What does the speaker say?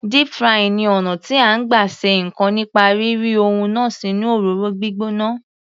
Deep frying ni ọ̀nà tí à ń gbà ṣe ǹkan nípa rí ri ohun náà sínú òróró gbígbóná.